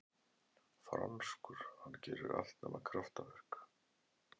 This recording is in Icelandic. Franskur, hann gerir allt nema kraftaverk.